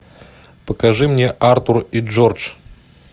покажи мне артур и джордж